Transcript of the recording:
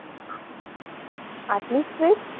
આટલું strict